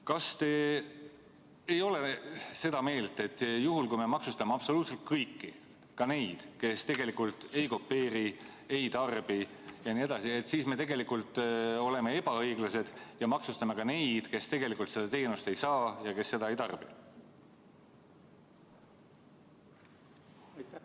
Kas te ei ole seda meelt, et juhul, kui me maksustame absoluutselt kõiki – ka neid, kes tegelikult ei kopeeri, ei tarbi jne –, siis me oleme tegelikult ebaõiglased ja maksustame ka neid, kes tegelikult seda teenust ei saa ja seda ei tarbi?